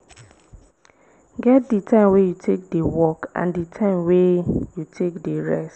get di time wey you take dey work and di time wey you take dey rest